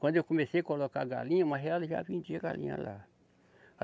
Quando eu comecei a colocar galinha, mas ela já vendia galinha lá.